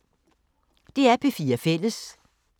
DR P4 Fælles